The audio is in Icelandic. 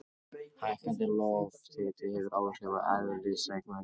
Hækkandi lofthiti hefur áhrif á eðliseiginleika sjávar.